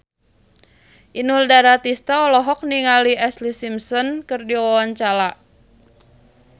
Inul Daratista olohok ningali Ashlee Simpson keur diwawancara